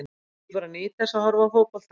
Ég bara nýt þess að horfa á fótbolta.